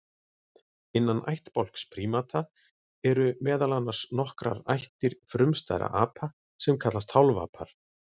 Innan ættbálks prímata eru meðal annars nokkrar ættir frumstæðra apa sem kallast hálfapar.